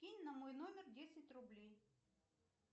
кинь на мой номер десять рублей